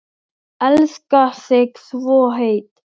Elska þig svo heitt.